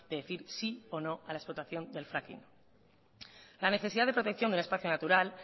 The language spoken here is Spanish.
de decir sí o no a la explotación del fracking la necesidad de protección del espacio natural